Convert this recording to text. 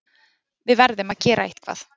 Við verðum að gera eitthvað.